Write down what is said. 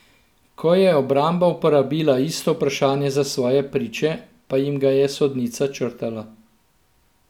Ko je obramba uporabila isto vprašanje za svoje priče, pa jim ga je sodnica črtala.